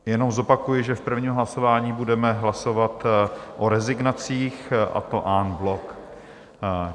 Jenom zopakuji, že v prvním hlasování budeme hlasovat o rezignacích, a to en bloc.